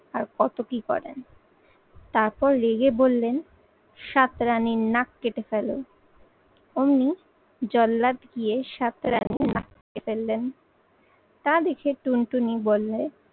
আর কত কি করেন। তারপর রেগে বললেন, সাত রানীর নাক কেটে ফেলো। অমনি জল্লাদ গিয়ে সাত রানির নাক কেটে ফেললেন। তা দেখে টুনটুনি বললে